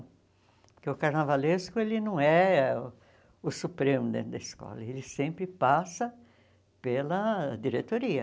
Porque o carnavalesco ele não é o supremo dentro da escola, ele sempre passa pela diretoria.